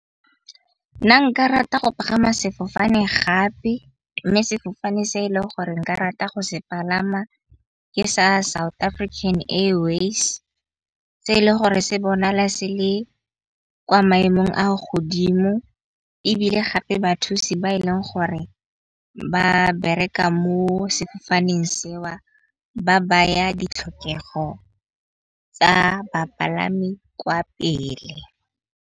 Nna nka rata go pagama sefofane gape, mme sefofane se e leng gore nka rata go se palama ke sa South African Air Waves. E le gore se bona le se le kwa maemong a godimo, ebile gape bathusi ba e leng gore ba bereka mo sefofaneng seo ba baya ditlhokego tsa bapalami kwa pele.